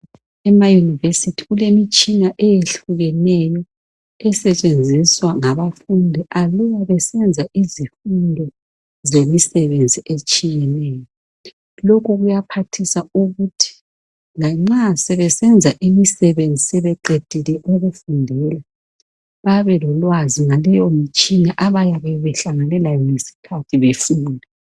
Ema eYunivesithi kulemitshina eyehlukeneyo esetshenziswa ngabafundi aluba besenza izifundo zemisebenzi etshiyeneyo, lokhu kuyaphathisa ukuthi lanxa sebesenza imisebenzi sebeqedile ukufundela babe lolwazi ngaleyomitshina abayabehlangane layo ngesikhathi befunda.